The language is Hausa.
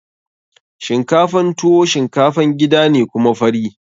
Shinkafan tuwo shinkafan gida ne kuma fari.